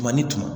Tuma ni tuma